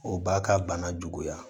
O b'a ka bana juguya